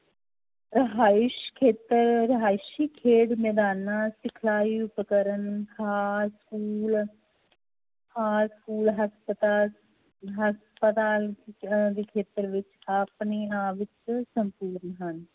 ਰਿਹਾਇਸ ਖੇਤਰ ਰਿਹਾਇਸੀ ਖੇਡ ਮੈਦਾਨਾਂ ਸਿਖਲਾਈ ਉਪਕਰਨ ਹਸਪਤਾਲ ਹਸਪਤਾਲ ਦੇ ਖੇਤਰ ਵਿੱਚ ਆਪਣੀ ਆਪ ਵਿੱਚ ਸੰਪੂਰਨ ਹਨ